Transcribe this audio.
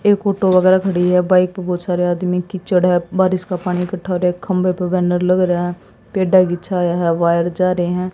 एक ओटो वगैरा खड़ी है बाइक पे बहुत सारे आदमी कीचड़ है बारिश का पानी इकठ्ठा हो रहा खंबे पे बैनर लग रहा है पेड़ा की छाया है वायर जा रहे हैं।